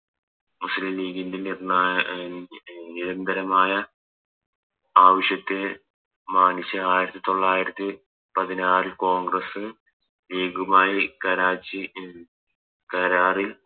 മുസ്ലിം ലീഗിൻറെ നിർണ്ണായ അഹ് നിരന്തരമായ ആവശ്യത്തെ മാനിച്ച് ആയിരത്തി തൊള്ളായിരത്തി പതിനാറിൽ കോൺഗ്രസ്സ് ലീഗുമായി കരാച്ചി കരാറിൽ ഓ